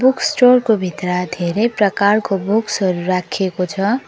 Books store को भित्र धेरै प्रकारको बुक्स हरु राखेको छ।